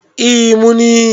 e mun yi